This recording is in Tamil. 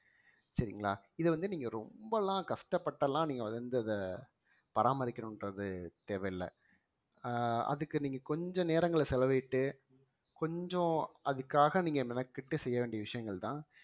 சரிங்களா இதை வந்து நீங்க ரொம்பலாம் கஷ்டப்பட்டுலாம் நீங்க வந்து இத பராமரிக்கணும்ன்றது தேவையில்ல அஹ் அதுக்கு நீங்க கொஞ்ச நேரங்கள்ல செலவிட்டு கொஞ்சம் அதுக்காக நீங்க மெனக்கெட்டு செய்ய வேண்டிய விஷயங்கள்தான்